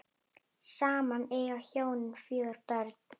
Saman eiga hjónin fjögur börn.